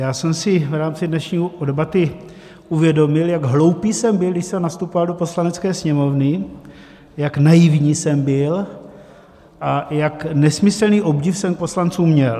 Já jsem si v rámci dnešní debaty uvědomil, jak hloupý jsem byl, když jsem nastupoval do Poslanecké sněmovny, jak naivní jsem byl a jak nesmyslný obdiv jsem k poslancům měl.